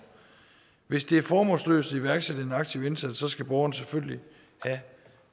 hvis det er formålsløst at iværksætte en aktiv indsats skal borgeren selvfølgelig have